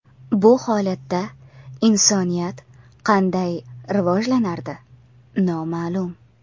Bu holatda insoniyat qanday rivojlanardi – noma’lum.